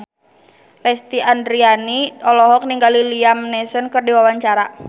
Lesti Andryani olohok ningali Liam Neeson keur diwawancara